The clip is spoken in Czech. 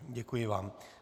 Děkuji vám.